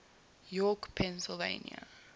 york pennsylvania